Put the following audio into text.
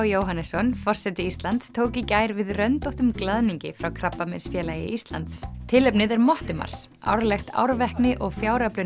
Jóhannesson forseti Íslands tók í gær við röndóttum glaðningi frá Krabbameinsfélagi Íslands tilefnið er Mottumars árlegt árvekni og